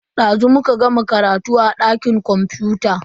Dazu muka gama karatu a dakin kwamfuta.